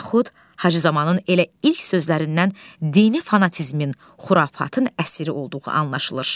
yaxud Hacızamanın elə ilk sözlərindən dini fanatizmin, xurafatın əsiri olduğu anlaşılır.